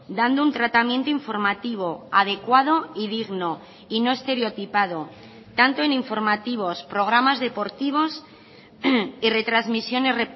dando un tratamiento informativo adecuado y digno y no estereotipado tanto en informativos programas deportivos y retransmisiones